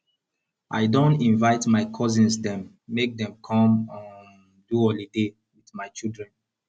i don invite my cousins dem make dey come um do holiday wit my children